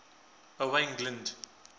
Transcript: owain glynd